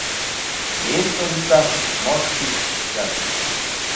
Mentorica, moški, jaz.